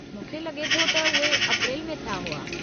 मूंखे लगे॒ थो त उहे अप्रेल में थिया हुआ।